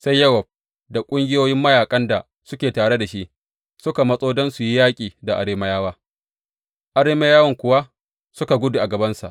Sai Yowab da ƙungiyoyin mayaƙan da suke tare da shi suka matso don su yi yaƙi da Arameyawa, Arameyawan kuwa suka gudu a gabansa.